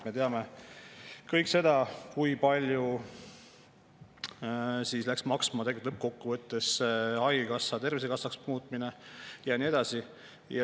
Me teame kõik, kui palju läks tegelikult lõppkokkuvõttes maksma haigekassa Tervisekassaks muutmine ja nii edasi.